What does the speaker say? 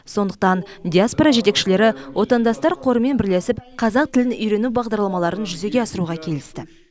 сондықтан диаспора жетекшілері отандастар қорымен бірлесіп қазақ тілін үйрену бағдарламаларын жүзеге асыруға келісті